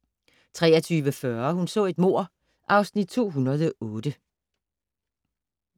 03:40: Hun så et mord (Afs. 208)